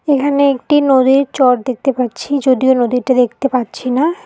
এখানে একটি নদীর চর দেখতে পাচ্ছি যদিও নদীটা দেখতে পাচ্ছি না।